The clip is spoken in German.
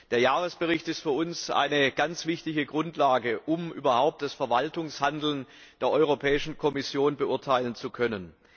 Der Jahresbericht ist für uns eine ganz wichtige Grundlage, um überhaupt das Verwaltungshandeln der Kommission beurteilen zu können.